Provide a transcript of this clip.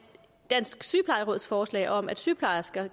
dansk sygeplejeråds forslag om at sygeplejersker